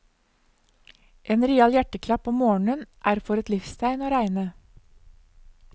En real hjerteklapp om morgenen er for et livstegn å regne.